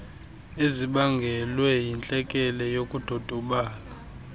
ezibangelwe yintlekele yokudodobala